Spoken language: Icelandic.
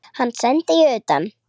Hann sendi ég utan.